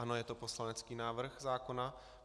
Ano, je to poslanecký návrh zákona.